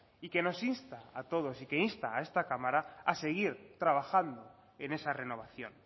y que nos insta a todos y que insta a esta cámara a seguir trabajando en esa renovación